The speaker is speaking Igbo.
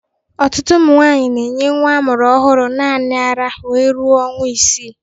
Ọtụtụ ụmụ nwaanyi na-enye ha mụrụ ọhụrụ naanị ara wee ruo ọnwa isii.